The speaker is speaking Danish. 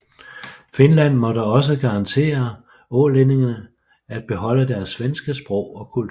Finland måtte også garantere ålændingene at beholde deres svenske sprog og kultur